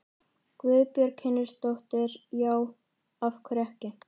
Guðbjörg Hinriksdóttir: Já, af hverju ekki?